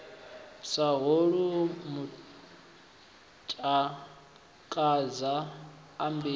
sa holwu matakadza a mbilu